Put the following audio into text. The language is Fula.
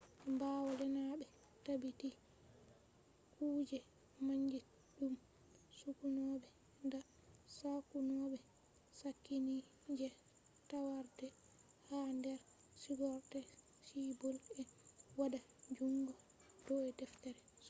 ɓawo lenaɓe tabbiti kuje mandirɗum sokkunoɓe da sakkunoɓe sakkini je takarde ha nder sigorde suɓɓol e waɗa jungo do deftere sokkunobe